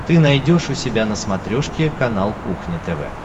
ты найдешь у себя на смотрешке канал кухня тв